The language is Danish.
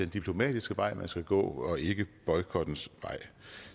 diplomatiske vej man skal gå og ikke boykottens vej